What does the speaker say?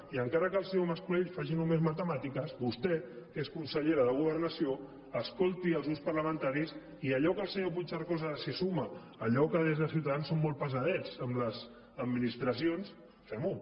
i encara que el senyor mas colell faci només matemàtiques vostè que és consellera de governació escolti els grups parlamentaris i allò a què el senyor puigcercós ara es suma allò que des de ciutadans som molt pesadets amb les administracions fem ho